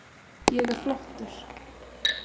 Ég er flottur.